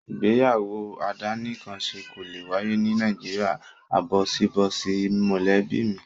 Ìgbéyàwó àdánìkanṣe kò lè wáyé ní Nàìjíríà áńbọ̀síbọ̀sí mọ̀lẹ́bí mi.